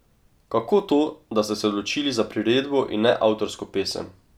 Kako to, da ste se odločili za priredbo in ne avtorsko pesem?